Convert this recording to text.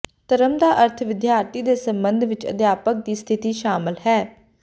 ਧਰਮ ਦਾ ਅਰਥ ਵਿਦਿਆਰਥੀ ਦੇ ਸਬੰਧ ਵਿੱਚ ਅਧਿਆਪਕ ਦੀ ਸਥਿਤੀ ਸ਼ਾਮਲ ਹੈ